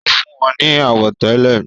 ó fún wọn ní àwọ̀tẹ́lẹ̀